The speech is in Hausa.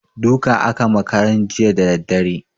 Duka aka ma karen jiya da daddare.